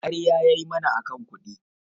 ƙarya yayi mana akan kuɗi